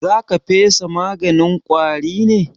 Za ka fesa maganin ƙwari ne?